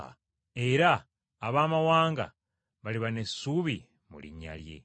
Era abamawanga baliba n’essuubi mu linnya lye.”